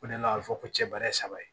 O de la a bɛ fɔ ko cɛ bɛ ne saba ye